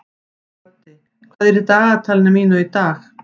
Böddi, hvað er í dagatalinu mínu í dag?